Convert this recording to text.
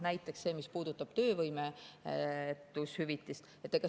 Näiteks see, mis puudutab töövõimetushüvitist.